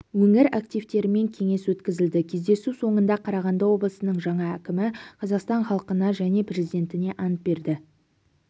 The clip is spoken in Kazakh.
өңір активтерімен кеңес өткізілді кездесу соңында қарағанды облысының жаңа әкімі қазақстан халқына және президентіне ант берді